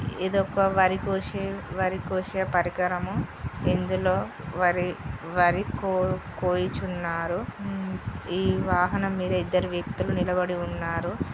ఇదోక వరికోసే-వరికోసే పరికరం. ఇందులో వరి-వరి కోయు కోయుచున్నారు. ఈ వాహనం మీద ఇద్దరు వ్యక్తులు నిలబడి ఉన్నారు.